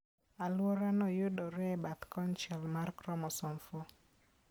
Alworano yudore e bathe konchiel mar chromosome 4.